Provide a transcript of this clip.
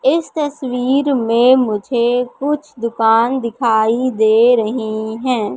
इस तस्वीर में मुझे कुछ दुकान दिखाई दे रही हैं।